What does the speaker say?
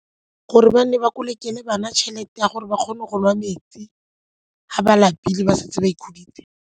Gore ba nne ba kolekele bana tšhelete ya gore ba kgone go nwa metsi ga ba lapile ba santse ba ikhuditse.